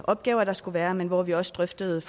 opgaver der skulle være men hvor vi også drøftede